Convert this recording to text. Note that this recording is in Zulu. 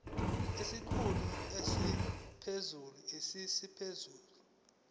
isikhulu esiphezulu siyisikhulu